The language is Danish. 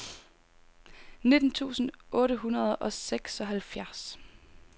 nitten tusind otte hundrede og seksoghalvfjerds